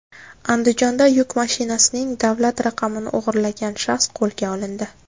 Andijonda yuk mashinasining davlat raqamini o‘g‘irlagan shaxs qo‘lga olindi.